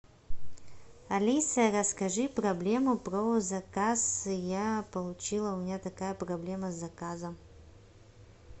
алиса расскажи проблему про заказ я получила у меня такая проблема с заказом